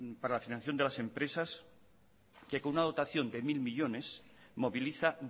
para la financiación de las empresas que con una dotación de mil millónes moviliza